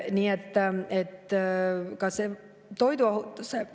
Nii et ka toiduohutuse ...